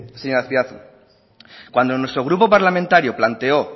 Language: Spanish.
señor azpiazu cuando nuestro grupo parlamentario planteó